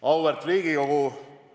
Auväärt Riigikogu!